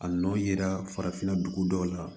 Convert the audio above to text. A nɔ yera farafinna dugu dɔw la